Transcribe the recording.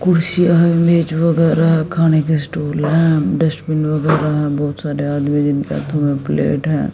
कुर्सियां है मेज वगैरा खाने के स्टूल हैं डस्टबिन वगैरा बहुत सारे आदमी जिनके हाथों में प्लेट है।